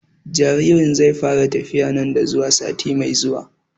Jaririn zai fara tafiya nan da zuwa sati mai zuwa